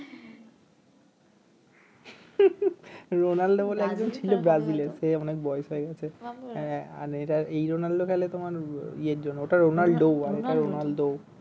Ronaldo ছিল বলে একজন ছিল ব্রাজিলের সে অনেক বয়েস হয়ে গেছে আর এই রোনালদো খেলে তোমার ইয়ের জন্য ওটা রোনালডো আর এটা রোনালদো